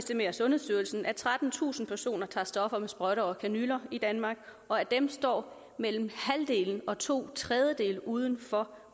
sundhedsstyrelsen at trettentusind personer tager stoffer med sprøjter og kanyler i danmark og af dem står mellem halvdelen og to tredjedele uden for